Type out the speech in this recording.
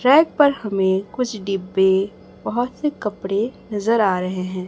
Rack पर हमें कुछ डिब्बे बहुत से कपड़े नज़र आ रहे है।